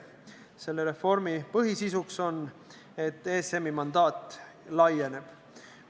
Selle reformi põhisisu on see, et ESM-i mandaat laieneb.